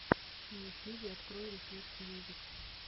на ютьюбе открой рефлексмьюзик